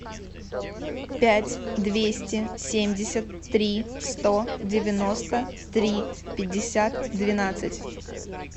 пять двести семьдесят три сто девяносто три пятьдесят двенадцать